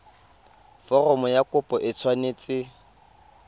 foromo ya kopo e tshwanetse